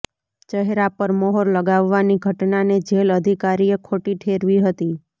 ચહેરા પર મહોર લગાવવાની ઘટનાને જેલ અધિકારીએ ખોટી ઠેરવી હતી